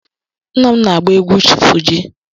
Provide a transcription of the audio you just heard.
Nna m na-agba egwu Fuji.